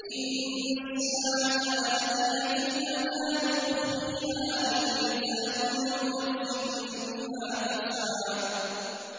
إِنَّ السَّاعَةَ آتِيَةٌ أَكَادُ أُخْفِيهَا لِتُجْزَىٰ كُلُّ نَفْسٍ بِمَا تَسْعَىٰ